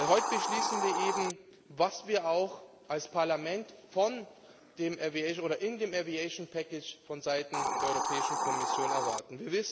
Heute beschließen wir eben, was wir auch als Parlament in dem Luftverkehrspaket vonseiten der Europäischen Kommission erwarten.